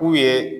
K'u ye